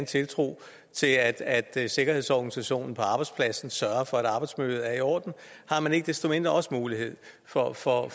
tiltro til at sikkerhedsorganisationen på arbejdspladsen sørger for at arbejdsmiljøet er i orden har man ikke desto mindre også en mulighed for at for at